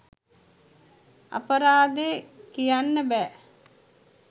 අපරාදේ කියන්න බෑ